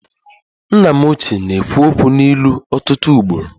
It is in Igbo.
Nna m ochie na-ekwu okwu n'ilu ọtụtụ ugboro